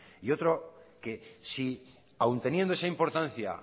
y otro que si aun teniendo esa importancia